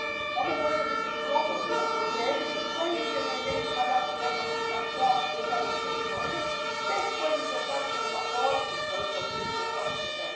One moraju biti slobodne odrediti kojim će energentima dati prednost na svom državnom teritoriju te s kojim će partnerima provoditi svoju politiku opskrbe.